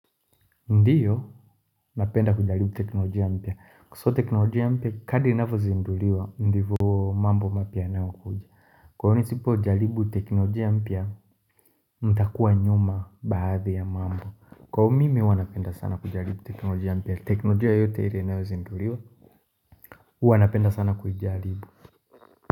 Ndio napenda kujaribu teknolojia mpya kwa sababu teknolojia mpya kadri inavyozinduliwa ndivyo mambo mapya yanayo kuja kwa hio nisipo jaribu teknolojia mpya nitakua nyuma baadhi ya mambo kwa hivo mimi napenda sana kujaribu teknolojia mpya teknolojia yote ile inayo zinduliwa hua napenda sana kuijaribu.